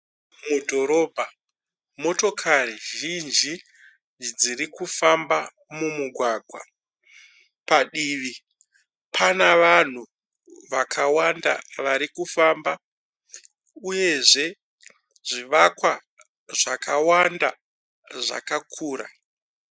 Mudhorobha motokari zhinji dziri kufamba mumugwagwa. Padivi pane vanhu vakawanda vari kufamba uyezve zvivakwa zvakawanda zvakakura.